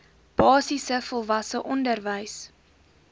basiese volwasse onderwys